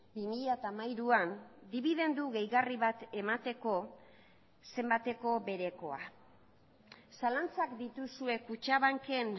bi mila hamairuan dibidendu gehigarri bat emateko zenbateko berekoa zalantzak dituzue kutxabanken